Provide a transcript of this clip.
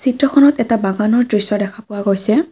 ফটোখনত এটা বাগানৰ দৃশ্য দেখা পোৱা গৈছে।